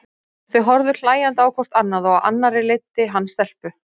Þau horfðu hlæjandi á hvort annað og á annarri leiddi hann stelpu.